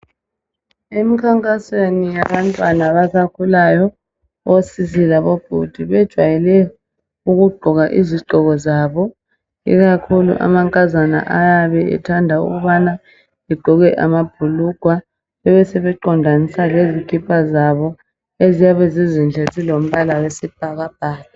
Emkhankasweni yabantwana abasakhulayo, osisi labo bhudi, bejayele ukugqoka izigqoko zabo. Ikakhulu amankazana ayabe ethanda ukubana, egqoke amabhulugwa besebe qondanisa lezikipa zabo, eziyabe zizinhle zilombala wesibhakabhaka.